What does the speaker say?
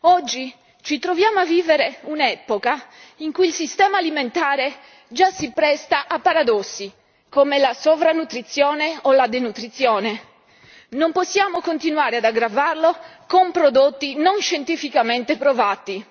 Oggi ci troviamo a vivere un'epoca in cui il sistema alimentare già si presta a paradossi come la sovrannutrizione o la denutrizione, non possiamo continuare ad aggravarlo con prodotti non scientificamente provati.